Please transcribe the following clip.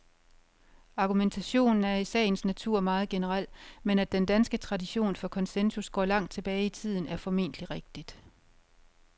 Argumentationen er i sagens natur meget generel, men at den danske tradition for konsensus går langt tilbage i tiden, er formentlig rigtigt.